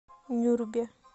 нюрбе